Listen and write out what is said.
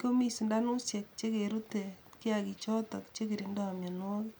komi sindanushek chekerute kiagik chotok chekindoi mionwogik.